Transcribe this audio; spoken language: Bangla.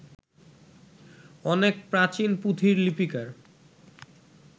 অনেক প্রাচীন পুঁথির লিপিকার